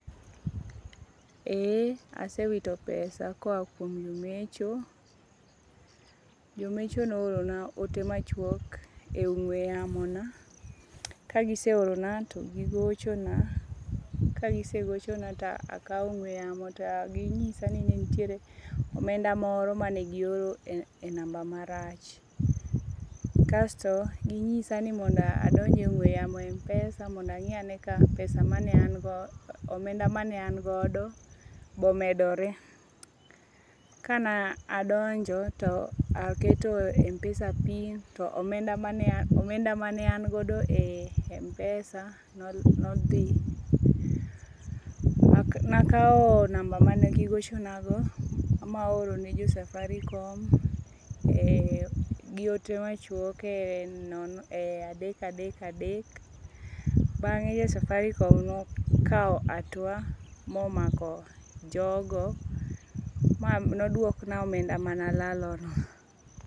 Eee asewito pesa ka oha kuom jomecho, jomecho ne ohorona ote machuok e ongwe yamona, kagise orona togigochona ka gisegochona to akawo ongwe yamo to ginyisa ni nitiere omenda moro mane gioro e number marach kasto ginyisa ni mondo adonje e ong'we yamo e Mpesa mondo angi'yane ka pesa mane angodo omenda mane angodo bomedore, kane adonjo to aketo Mpesa pin to omenda mane an godo e Mpesa nothi, nakawo number mane gigochonago ma aoro ne jo Safaricom gi ote machuok e adek adek adek bange' jo Safaricom ne okawo atua momako jogo mane odwokna omenda mana alalogo.